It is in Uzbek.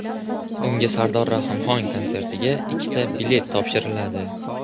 Unga Sardor Rahimxon konsertiga ikkita bilet topshiriladi.